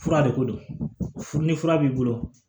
Fura de ko don furu ni fura b'i bolo